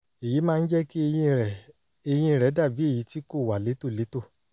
èyí máa ń jẹ́ kí eyín rẹ̀ eyín rẹ̀ dàbí èyí tí kò wà létòlétò